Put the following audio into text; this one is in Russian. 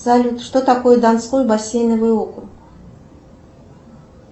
салют что такое донской бассейновый округ